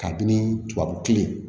Kabini tubabu kile